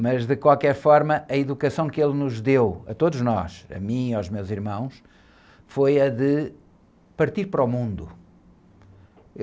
Mas de qualquer forma, a educação que ele nos deu, a todos nós, a mim e aos meus irmãos, foi a de partir para o mundo.